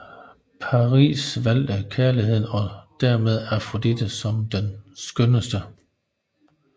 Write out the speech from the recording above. Paris valgte kærligheden og dermed Afrodite som den skønneste